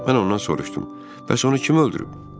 Mən ondan soruşdum: bəs onu kim öldürüb?